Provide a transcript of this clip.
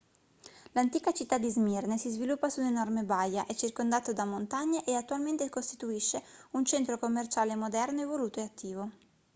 l'antica città di smirne si sviluppa su un'enorme baia è circondato da montagne e attualmente costituisce un centro commerciale moderno evoluto e attivo